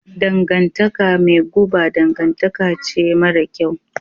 Dangantaka mai guba dangantaka ce mara kyau.